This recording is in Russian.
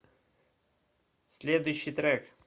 следующий трек